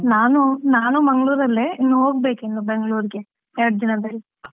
ನಾನು ನಾನು ಮಂಗಳೂರಲ್ಲೇ, ಇನ್ನು ಹೋಗ್ಬೇಕು ಇನ್ನು ಬೆಂಗಳೂರಿಗೆ ಎರಡ್ ದಿನ ಬರಿ.